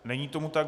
Není tomu tak.